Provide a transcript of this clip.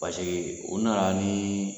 Paseke o nana ni